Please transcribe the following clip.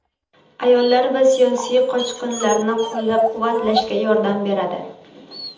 ayollar va siyosiy qochqinlarni qo‘llab-quvvatlashga yordam beradi.